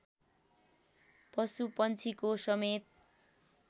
पशुपंक्षीको समेत